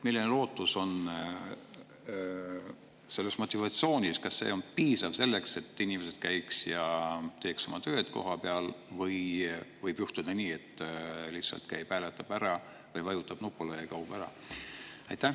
Milline lootus on, kas see motivatsioon on piisav selleks, et inimesed käiks ja teeks oma tööd kohapeal, või võib juhtuda nii, et lihtsalt käib hääletab ära, vajutab nupule ja kaob ära?